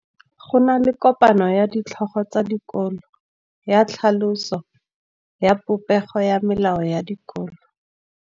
Go na le kopanô ya ditlhogo tsa dikolo ya tlhaloso ya popêgô ya melao ya dikolo.